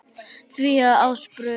því að Ásbrú